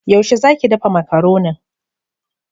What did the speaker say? Yaushe za ki dafa Makaronin?